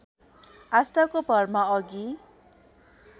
आस्थाको भरमा अघि